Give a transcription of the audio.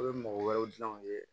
A bɛ mɔgɔ wɛrɛw dilan u ye